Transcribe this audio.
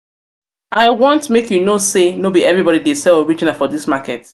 i want make you know sey no be everybodi dey sell original um for dis market.